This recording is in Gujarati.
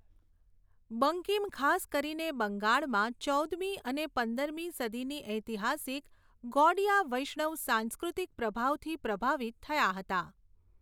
બંકિમ ખાસ કરીને બંગાળમાં ચૌદમી અને પંદરમી સદીની ઐતિહાસિક ગૌડિયા વૈષ્ણવ સાંસ્કૃતિક પ્રભાવથી પ્રભાવિત થયા હતા.